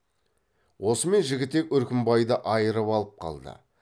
осымен жігітек үркімбайды айырып алып қалды